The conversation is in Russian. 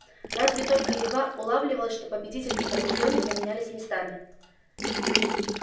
разве только едва улавливалось что победитель и побеждённый поменялись местами